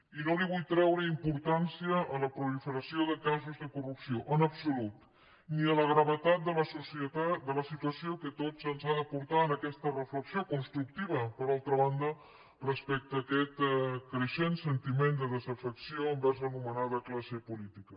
i no vull treure importància a la proliferació de casos de corrupció en absolut ni a la gravetat de la situació que a tots ens ha de portar a aquesta reflexió constructiva per altra banda respecte a aquest creixent sentiment de desafecció envers l’anomenada classe política